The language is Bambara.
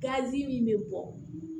Gazi min bɛ bɔ